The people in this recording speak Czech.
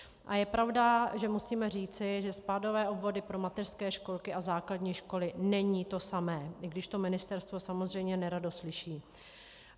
A je pravda, že musíme říci, že spádové obvody pro mateřské školky a základní školy není to samé, i když to ministerstvo samozřejmě nerado slyší.